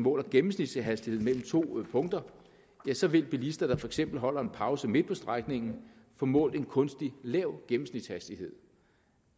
måler gennemsnitshastigheden mellem to punkter ja så vil bilister der for eksempel holder en pause midt på strækningen få målt en kunstigt lav gennemsnitshastighed